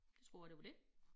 Det tror jeg det var det